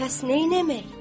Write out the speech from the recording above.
Pəs neynəmək?